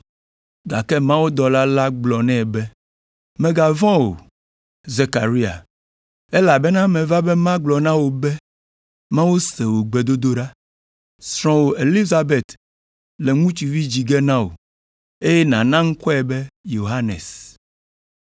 Gake mawudɔla la gblɔ nɛ be, “Mègavɔ̃ o, Zekaria, elabena meva be magblɔ na wò be Mawu se wò gbedodoɖa. Srɔ̃wò Elizabet le viŋutsuvi dzi ge na wò, eye nàna ŋkɔe be Yohanes.